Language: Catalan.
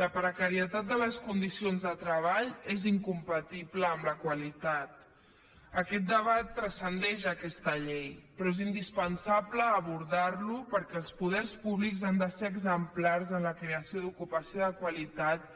la precarietat de les condicions de treball és incompatible amb la qualitat aquest debat transcendeix aquesta llei però és indispensable abordar lo perquè els poders públics han de ser exemplars en la creació d’ocupació de qualitat